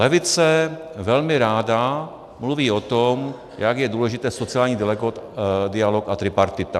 Levice velmi ráda mluví o tom, jak jsou důležité sociální dialog a tripartita.